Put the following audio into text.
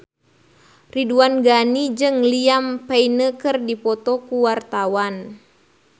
Ridwan Ghani jeung Liam Payne keur dipoto ku wartawan